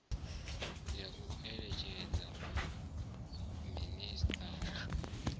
ya u eletshedza minisiṱa wa